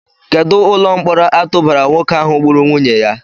Kedụ ụlọ mkpọrọ a tụbara nwoke ahụ gburu nwunye ya?